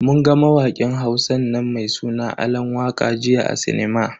Mun ga mawakin Hausan nan mai suna Alan waka jiya a sinima.